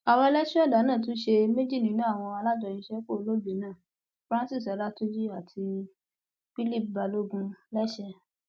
àwọn ẹlẹsù ẹdá náà tún ṣe méjì nínú àwọn alájọṣiṣẹpọ olóògbé náà francis ọlátúnjì àti philip balogun lẹsẹ